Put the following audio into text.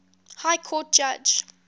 high court judge